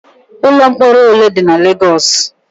Ụlọ mkpọrọ ole dị na Legos?